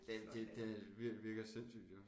Det det det virker sindssygt jo